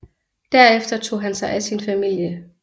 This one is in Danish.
Derefter tog han sig af sin familie